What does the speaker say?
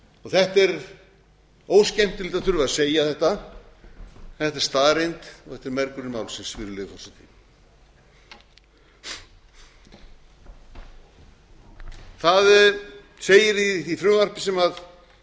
þetta er óskemmtilegt að þurfa að segja þetta en þetta er staðreynd og þetta er mergurinn málsins virðulegi forseti það segir í því frumvarpi sem